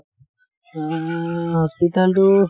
হম hospital টো